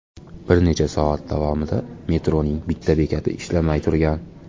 Bir necha soat davomida metroning bitta bekati ishlamay turgan.